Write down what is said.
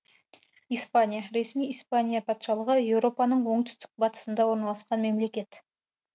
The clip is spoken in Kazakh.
испания ресми испания патшалығы еуропаның оңтүстік батысында орналасқан мемлекет